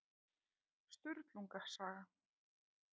Sturlunga saga.